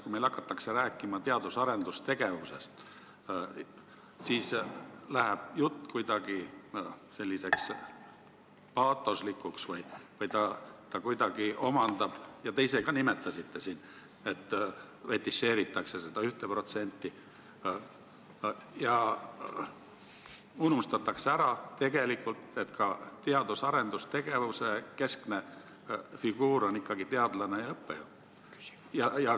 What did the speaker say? Kui meil hakatakse rääkima teadus- ja arendustegevusest, siis läheb jutt paatoslikuks või kuidagi, te ise ka nimetasite siin seda, fetišeeritakse seda 1% ja unustatakse ära, et teadus- ja arendustegevuse keskne figuur on ikkagi teadlane ja õppejõud.